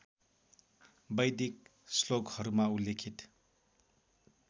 वैदिक श्लोकहरूमा उल्लेखित